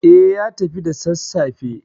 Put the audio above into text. Eh, ya tafi da sassafe.